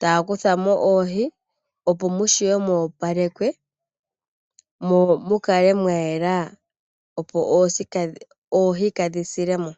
Taya kutha mo oohi opo mu vule okoopalekwa mo mukale mwa yela opo oohi kaadhi silemo.